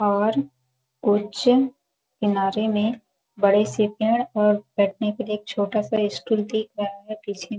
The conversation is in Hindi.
और कुछ किनारें में बड़े से पेड़ और बैठने के लिए एक छोटा सा स्टूल दिख रहा है पीछे में--